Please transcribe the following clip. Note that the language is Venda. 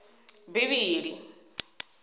bivhili